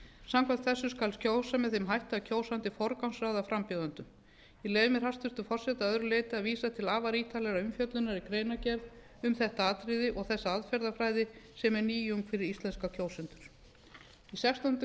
samkvæmt þessu skal kjósa með þeim hætti að kjósandi forgangsraðar frambjóðendum ég leyfi mér hæstvirtur forseti að öðru leyti að vísa til afar ítarlegrar umfjöllunar í greinargerð um þetta atriði og þessa aðferðafræði sem er nýjung fyrir íslenska kjósendur í sextándu